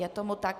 Je tomu tak.